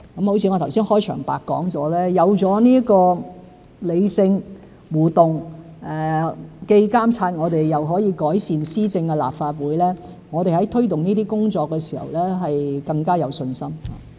就像我剛才在開場白所說，有了這理性、互動、既監察我們又可以改善施政的立法會，我們在推動這些工作的時候更有信心。